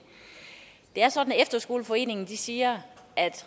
det er sådan at efterskoleforeningen siger at